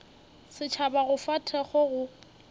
setšhaba go fa thekgo go